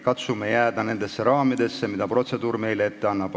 Katsume jääda nendesse raamidesse, mida protseduur meile ette annab.